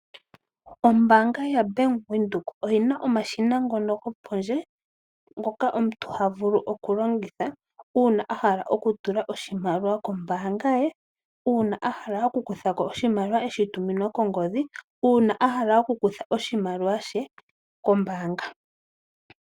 Ombaanga yaWindhoek oyina omashina gopondje ngoka omuntu taka vulu okulongitha uuna a hala okutula oshimaliwa kombaanga ye, okukutha oshimaliwa kombaanga nosho wo okukutha oshimaliwa shatuminwa kongodhi.